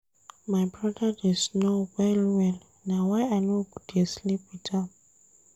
My broda dey snore well-well na why I no dey sleep wit am.